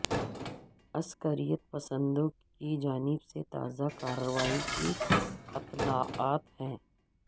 عسکریت پسندوں کی جانب سے تازہ کارروائی کی اطلاعات ہیں